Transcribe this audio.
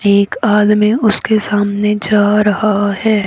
एक आदमी उसके सामने जा रहा है।